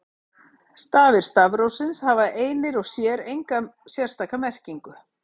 Stafir stafrófsins hafa einir og sér enga sérstaka merkingu.